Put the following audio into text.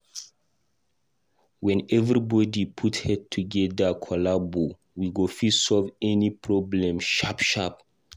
When everybody put head together collabo, we go fit solve any problem sharp sharp